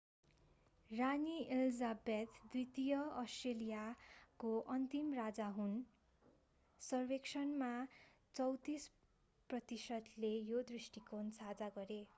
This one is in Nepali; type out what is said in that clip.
रानी elizabeth द्वितीय अष्ट्रेलियाको अन्तिम राजा हुन सर्वेक्षणमा 34 प्रतिशतले यो दृष्टिकोण साझा गरे